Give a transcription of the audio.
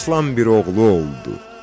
Aslan bir oğlu oldu.